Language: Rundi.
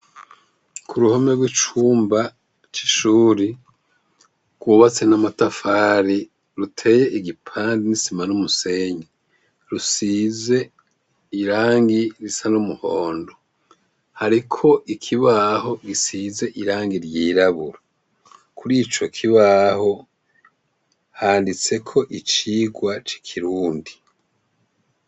Ku ruhome rw'icumba c'ishuri rwubatse n'amatafari ruteye igipandi n'isima n'umusenyi rusize irangi risa n'umuhondo. Hariko ikibaho gisize irangi ryirabura kurico kibaho handitse ko icigwa cikirundi.